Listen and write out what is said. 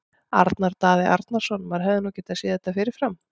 Arnar Daði Arnarsson Maður hefði nú getað séð þetta fyrir fram.